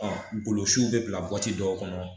golosiw bɛ bila dɔw kɔnɔ